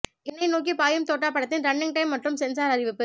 எனை நோக்கி பாயும் தோட்டா படத்தின் ரன்னிங் டைம் மற்றும் சென்சார் அறிவிப்பு